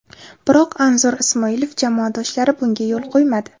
Biroq Anzur Ismoilov jamoadoshlari bunga yo‘l qo‘ymadi.